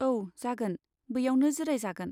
औ, जागोन ! बैयावनो जिराय जागोन।